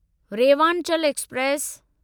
Rewanchal express